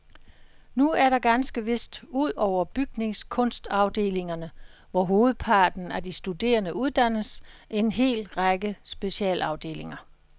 Nu er der ganske vist, ud over bygningskunstafdelingerne, hvor hovedparten af de studerende uddannes, en hel række specialafdelinger.